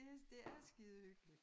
Det det er skide hyggeligt